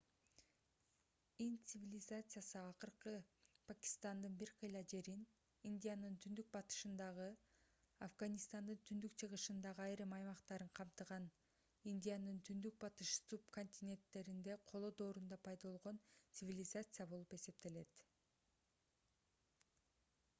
инд цивилизациясы азыркы пакистандын бир кыйла жерин индиянын түндүк-батышындагы афганистандын түндүк-чыгышындагы айрым аймактарын камтыган индиянын түндүк-батыш субконтиненттериндеги коло доорунда пайда болгон цивилизация болуп эсептелет